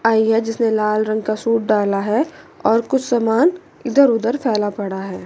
आई है जिसने लाल रंग का सूट डाला है और कुछ सामान इधर उधर फैला पड़ा है।